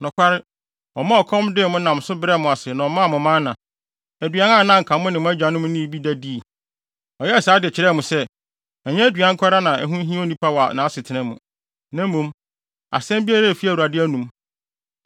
Nokware, ɔmaa ɔkɔm dee mo nam so brɛɛ mo ase na ɔmaa mo mana, aduan a na anka mo ne mo agyanom nnii bi da, dii. Ɔyɛɛ saa de kyerɛɛ mo sɛ, ɛnyɛ aduan nko ara na ɛho hia onipa wɔ nʼasetena mu, na mmom, asɛm biara a efi Awurade anom.